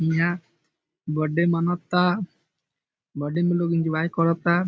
हीया birthday मनाता birthday में लोग एंजॉय कराता ।